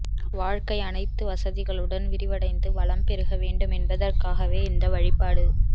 வாழ்க்கை அனைத்து வசதிகளுடன் விரிவடைந்து வளம் பெருக வேண்டும் என்பதற்காகவே இந்த வழிபாடு